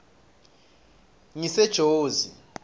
ngisejozi